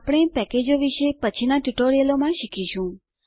આપણે પેકેજો વિશે પછીનાં ટ્યુટોરીયલોમાં શીખીશું